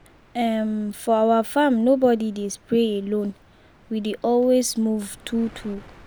um for our farm nobody dey spray alone. we dey always move two-two.